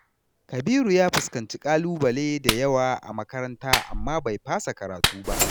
Kabiru ya fuskanci ƙalubale da yawa a makaranta amma bai fasa karatu ba.